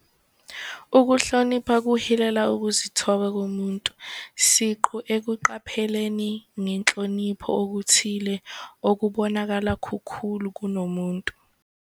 Ukuhlonipha kuhilela ukuzithoba komuntu siqu ekuqapheleni ngenhlonipho okuthile okubonakala kukhulu kunomuntu.